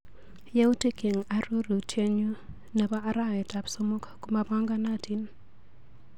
Yautik eng arorutienyu nebo arawetap somok komapanganatin.